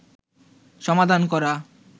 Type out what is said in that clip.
সমাধান করা